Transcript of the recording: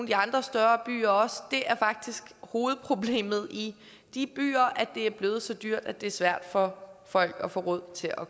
de andre større byer og det er faktisk hovedproblemet i de byer at det er blevet så dyrt at det er svært for folk at få råd til at